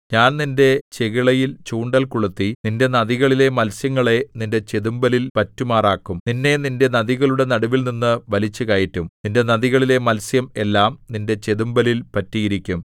ഞാൻ നിന്റെ ചെകിളയിൽ ചൂണ്ടൽ കൊളുത്തി നിന്റെ നദികളിലെ മത്സ്യങ്ങളെ നിന്റെ ചെതുമ്പലിൽ പറ്റുമാറാക്കും നിന്നെ നിന്റെ നദികളുടെ നടുവിൽനിന്നു വലിച്ചുകയറ്റും നിന്റെ നദികളിലെ മത്സ്യം എല്ലാം നിന്റെ ചെതുമ്പലിൽ പറ്റിയിരിക്കും